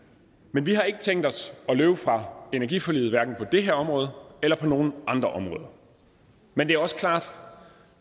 vi vi har ikke tænkt os at løbe fra energiforliget hverken på det her område eller på nogen andre områder men det er også klart at